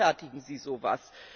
Wie rechtfertigen Sie so etwas?